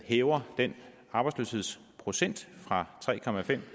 hæver den arbejdsløshedsprocent fra tre